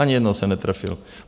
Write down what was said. Ani jednou se netrefil.